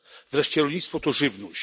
Wreszcie rolnictwo to żywność.